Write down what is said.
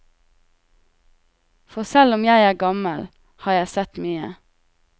For selv om jeg er gammel har jeg sett mye.